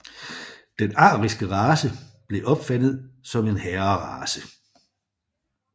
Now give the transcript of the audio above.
Den ariske race blev opfattet som en herrerace